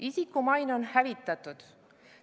Isiku maine on hävitatud.